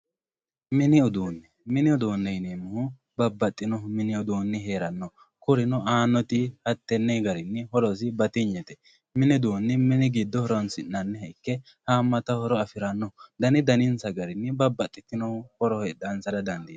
mini uduune mini uduune yineemohu babaxino mini uduuni heeranno kurino aanoti hattenne garinni horosi batinyete mini uduuni mini giddo horonsi'nanire ikke haamata horo afiranno dani danisa garinni babbaxitino horo heexaansara dandiitanno.